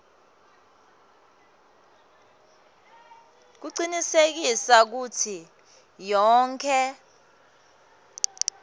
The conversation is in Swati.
kucinisekisa kutsi yonkhe